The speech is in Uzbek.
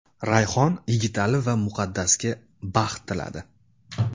Rayhon Yigitali va Muqaddasga baxt tiladi.